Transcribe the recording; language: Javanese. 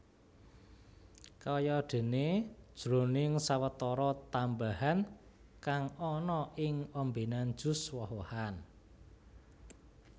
Kayadéné jroning sawetara tambahan kang ana ing ombènan jus woh wohan